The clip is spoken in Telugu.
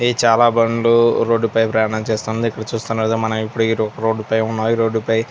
ఇ చాలా బండ్లు రోడ్డు పై ప్రయాణం చేస్తుంది. ఇక్కడ చుస్తునా కదా మనం ఇపుడు ఇ రోడ్డు పై మరో రోడ్డు పై --